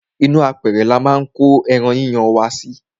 ínú apẹrẹ ni a máa ń ko ẹran yíyan wa sí.